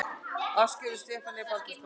Ásgerður Stefanía Baldursdóttir